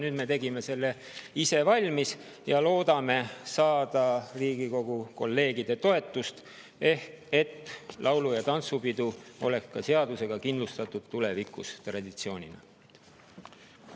Nüüd me tegime selle ise valmis ja loodame Riigikogu kolleegide toetusele, et laulu‑ ja tantsupidude traditsiooni tulevikus ka seaduses.